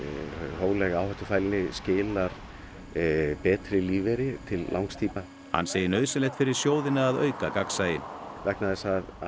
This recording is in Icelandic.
hófleg áhættufælni skilar betri lífeyri til langs tíma hann segir nauðsynlegt fyrir sjóðina að auka gagnsæi vegna þess að